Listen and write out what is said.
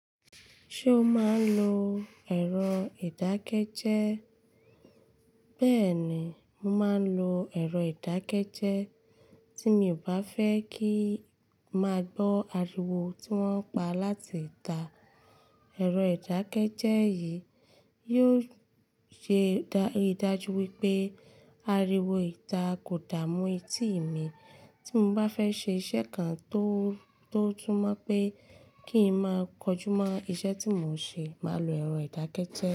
Ṣé o máa ń lo ẹ̀rọ ìdákẹ́jẹ́? Bẹ́ẹ̀ni, mo máa ń lo ẹ̀rọ ìdákẹ́jẹ́ tí mi ò bá fẹ́ kín máa gbọ́ ariwo tí wọ́n ń pa láti ìta. Ẹ̀rọ ìdákẹ́jẹ́ yìí yóò ṣe ìdájú wípé ariwo ìta kò dààmú etí mi. Tí mo bá fẹ́ ṣe iṣẹ́ kan tó túmọ̀ pé kí ń máa kọjú mọ́ iṣẹ́ tí mò ń ṣe, màá lo ẹ̀rọ ìdákẹ́jẹ́